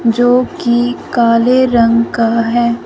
जो की काले रंग का है।